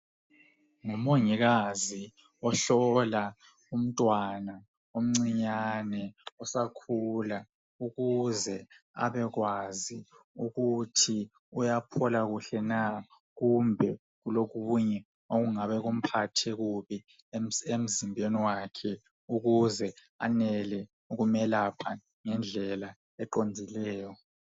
Ngumongikazi ohlola umntwana omncinyane osakhula ukuze abekwazi ukuthi uyaphola kuhle na kumbe kulokunye okungabe kumphathe kubi emzimbeni wakhe ukuze anele ukumelapha ngendlela eqondileyo.